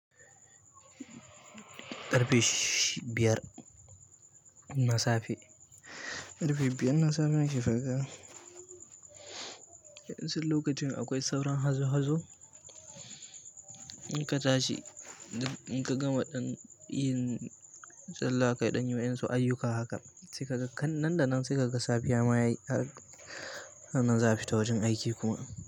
Ƙarfe biyar, nasafe ƙarfe biyar nasafe nake nasan lokacin yana hazo hazofi na shiga gari. Yanar lokaci me akwai sauran hazo hazo in ka tashi in ka gama ɗan yin sallah kaɗan yi masu ayuka haka sai kaga nan da nan sai kaga safiya ma yayi nan za a fita wajen aiki kuma.